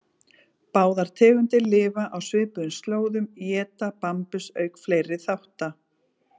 Báðar tegundir lifa á svipuðum slóðum, éta bambus auk fleiri þátta.